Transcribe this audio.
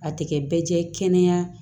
A tɛ kɛ bɛɛ jɛ ye kɛnɛya